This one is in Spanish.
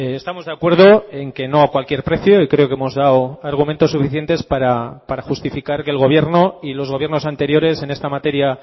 estamos de acuerdo en que no a cualquier precio y creo que hemos dado argumentos suficientes para justificar que el gobierno y los gobiernos anteriores en esta materia